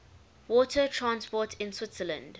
water transport in switzerland